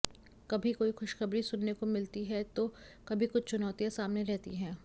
कभी कोई खुशखबरी सुनने को मिलती है तो कभी कुछ चुनौतियां सामने रहती है